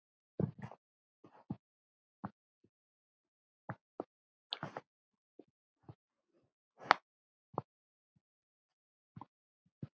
Er það kannski málið?